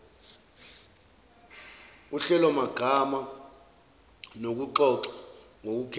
uhlelomagama nokuxoxa ngokukhethwa